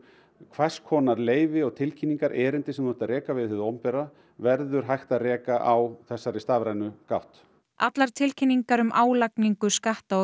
hvers konar leyfi og tilkynningar erindi sem þú ert að reka við hið opinbera verður hægt að reka á þessari stafrænu gátt allar tilkynningar um álagningu skatta og